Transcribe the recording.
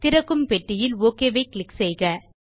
திறக்கும் பெட்டியில் ஓகே ஐ க்ளிக் செய்யவும்